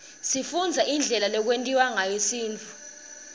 sifundza indlela lekwentiwa ngayo sintfu